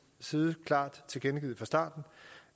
side klart tilkendegivet fra starten